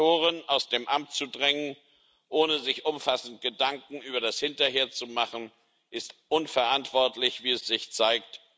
Diktatoren aus dem Amt zu drängen, ohne sich umfassend Gedanken über das Hinterher zu machen, ist unverantwortlich, wie sich zeigt.